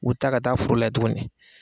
U bɛ taa ka taa foro lajɛ tuguni